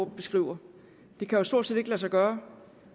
beskriver det kan jo stort set ikke lade sig gøre